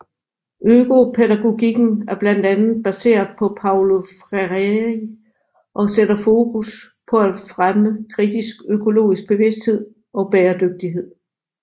Økopædagogikken er blandt andet baseret på Paulo Freire og sætter fokus på at fremme kritisk økologisk bevidsthed og bæredygtighed